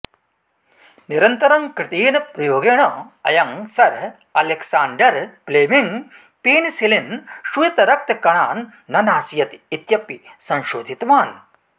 निरन्तरं कृतेन प्रयोगेण अयं सर् अलेक्साण्डर् प्लेमिङ्ग् पेनिसिलिन् श्वेतरक्तकणान् न नाशयति इत्यपि संशोधितवान्